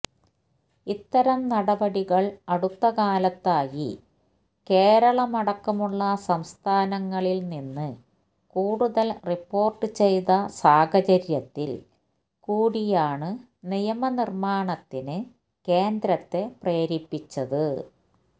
ഇത്തരം നടപടികള് അടുത്തകാലത്തായി കേരളമടക്കമുളള സംസ്ഥാനങ്ങളില് നിന്ന് കൂടുതല് റിപ്പോര്ട്ട് ചെയ്ത സാഹചര്യത്തില് കൂടിയാണ് നിയമ നിര്മ്മാണത്തിന് കേന്ദ്രത്തെ പ്രേരിപ്പിച്ചത്